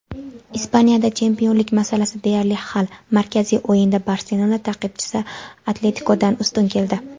Ispaniyada chempionlik masalasi deyarli hal: markaziy o‘yinda "Barselona" ta’qibchisi "Atletiko"dan ustun keldi.